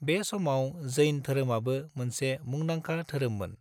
बे समाव जैन धोरोमाबो मोनसे मुंदांखा धोरोममोन।